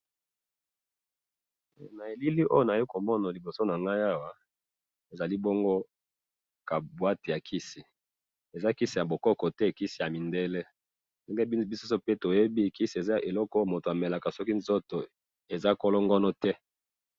na bilili oyo nazo komona liboso nangai awa ezali bongo ka boite ya kisi, eza kisi ya bokoko te kisi ya mindele pe nde biso pe toyebi kisi eza eloko mtu akomelaka soki nzoto eza kolongono te